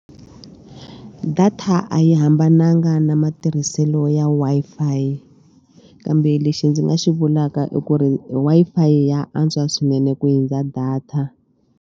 Data a yi hambananga na matirhiselo ya Wi-Fi kambe lexi ndzi nga xi vulaka i ku ri Wi-Fi ya antswa swinene ku hundza data.